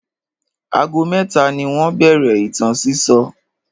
Ago mẹ́ta ni wọ́n bẹ̀rẹ̀ ìtàn sísọ.